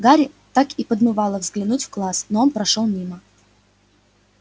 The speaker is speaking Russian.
гарри так и подмывало заглянуть в класс но он прошёл мимо